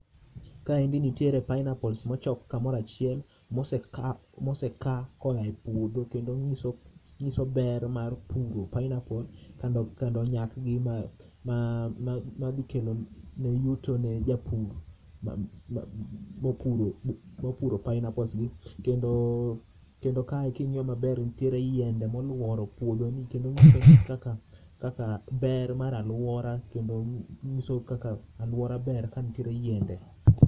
Kaendi nitiere pineapples mochok kamoro achiel ma oseka kowuok epuodho kendo nyiso, nyiso ber mar puro pineapples kendo nyak gi madhi kelo ber ne japur mopuro pineapples gi kendo, kendo kae kingiyo maber nitiere yiende moluoro puodho nie kendo kaka ber mar aluora kendo nyiso kaka aluora ber ka nitiere yiende